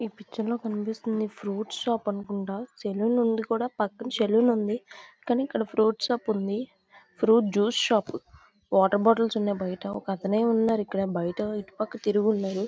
ఈ పిక్చర్ లో మనకి కనిపిస్తుంది ఫ్రూట్ షాప్ అనుకుంటా ఇది కూడా పక్కన సెలూన్ ఉంది కాని ఇక్కడ ఫ్రూట్స్ షాప్ ఉంది ఫ్రూట్స్ జ్యూస్ షాప్ ఉంది వాటర్ బాటిల్స్ ఉన్నాయి పక్కనే పక్కనే ఉన్నాయి బయటికి తిరిగి ఉన్నాయి.